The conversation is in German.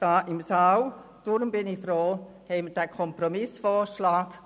Deshalb bin ich froh um diesen Kompromissvorschlag.